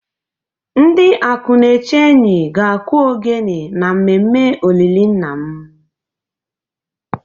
Ndi Akunechenyi ga akụ ogene na mmemme olili nna m